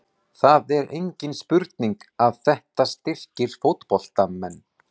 Það er engin spurning að þetta styrkir fótboltamenn.